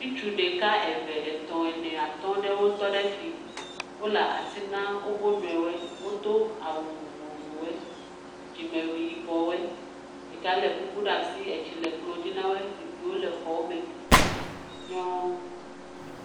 Ŋutsu ɖeka eve, etɔ̃, ene, atɔ̃ aɖewo tɔ ɖe afi. Wole asi na wo nɔewo. Wodo awu vovovowo. Dzime yibɔwo. Ɖeka le kuku ɖe asi. Etsi le kplɔ dzi na wo. Zikpuiwo le xɔa me. Nyɔ…